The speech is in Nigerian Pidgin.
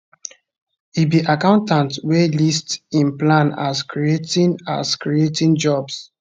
e be accountant wey list im plan as creating as creating jobs